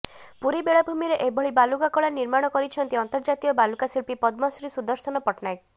ପୁରୀ ବେଳାଭୂମିରେ ଏଭଳି ବାଲୁକାକଳା ନିର୍ମାଣ କରିଛନ୍ତି ଅନ୍ତର୍ଜାତୀୟ ବାଲୁକାଶିଳ୍ପୀ ପଦ୍ମଶ୍ରୀ ସୁଦର୍ଶନ ପଟ୍ଟନାୟକ